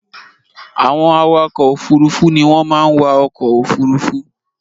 Àwọn awakọ̀ òfurufú ni wọ́n máa ń wa ọkọ̀ òfurufú